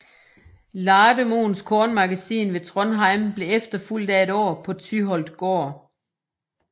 Lademoens kornmagasin ved Trondheim blev efterfulgt af et på Tyholt gård